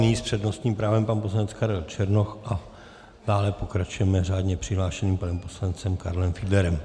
Nyní s přednostním právem pan poslanec Karel Černoch a dále pokračujeme řádně přihlášeným panem poslancem Karlem Fiedlerem.